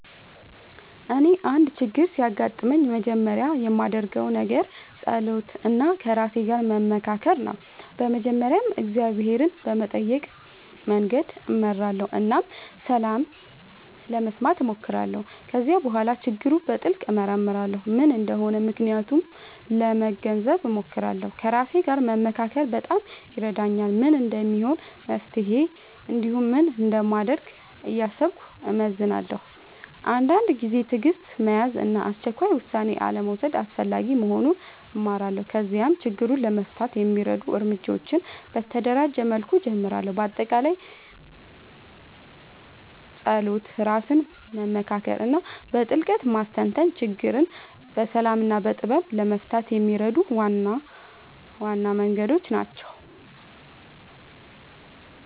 እኔ አንድ ችግር ሲያጋጥምኝ መጀመሪያ የማደርገው ነገር መጸሎት እና ከራሴ ጋር መመካከር ነው። በመጀመሪያ እግዚአብሔርን በመጠየቅ መንገድ እመራለሁ እና ሰላም ለመስማት እሞክራለሁ። ከዚያ በኋላ ችግሩን በጥልቅ እመርመራለሁ፤ ምን እንደሆነ ምክንያቱን ለመገንዘብ እሞክራለሁ። ከራሴ ጋር መመካከር በጣም ይረዳኛል፤ ምን እንደሚሆን መፍትሄ እንዲሁም ምን እንደማደርግ እያሰብኩ እመዝናለሁ። አንዳንድ ጊዜ ትዕግሥት መያዝ እና አስቸኳይ ውሳኔ አልመውሰድ አስፈላጊ መሆኑን እማራለሁ። ከዚያም ችግሩን ለመፍታት የሚረዱ እርምጃዎችን በተደራጀ መልኩ እጀምራለሁ። በአጠቃላይ መጸሎት፣ ራስን መመካከር እና በጥልቅ ማስተንተን ችግርን በሰላም እና በጥበብ ለመፍታት የሚረዱ ዋና ዋና መንገዶች ናቸው።